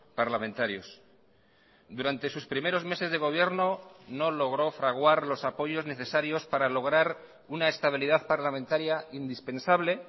parlamentarios durante sus primeros meses de gobierno no logró fraguar los apoyos necesarios para lograr una estabilidad parlamentaria indispensable